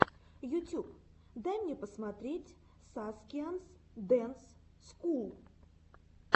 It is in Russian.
ютюб дай мне посмотреть саскианс дэнс скул